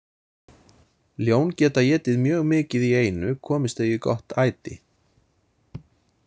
Ljón geta étið mjög mikið í einu komist þau í gott æti.